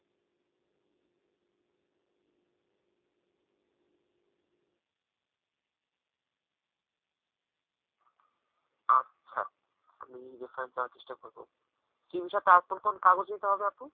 আচ্ছা আমি reference দেওয়ার চেষ্টা করবো; সে বিষয়ে তাঁর কোন কোন কাগজ নিতে হবে আপু?